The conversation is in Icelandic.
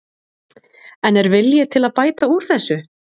En er vilji til að bæta úr þessu?